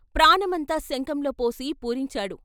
ప్రాణమంతా శంఖంలో పోసి పూరించాడు.